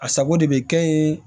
A sago de bɛ kɛ yen